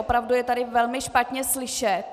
Opravdu je tady velmi špatně slyšet.